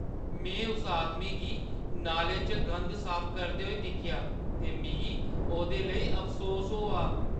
में उस आदमी गी नाले चा गंद साफ करदे दिक्खेआ ते मिगी ओह्दे लेई अफसोस होआ।